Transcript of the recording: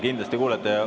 Kindlasti kuulete.